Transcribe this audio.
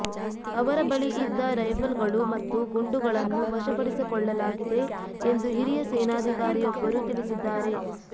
ಅವರ ಬಳಿ ಇದ್ದ ರೈಫಲ್ಗಳು ಮತ್ತು ಗುಂಡುಗಳನ್ನು ವಶಪಡಿಸಿಕೊಳ್ಳಲಾಗಿದೆ ಎಂದು ಹಿರಿಯ ಸೇನಾಧಿಕಾರಿಯೊಬ್ಬರು ತಿಳಿಸಿದ್ದಾರೆ